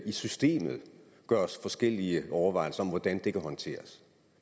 i systemet gøres forskellige overvejelser over hvordan det kan håndteres